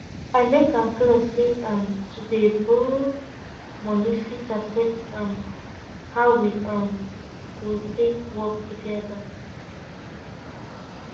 i make am clear say um to dey borrow money fit affect um how we um go take work together